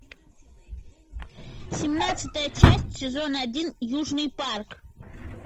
семнадцатая часть сезон один южный парк